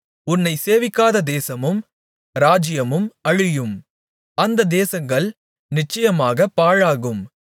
உன்னைச் சேவிக்காத தேசமும் ராஜ்யமும் அழியும் அந்த தேசங்கள் நிச்சயமாகப் பாழாகும்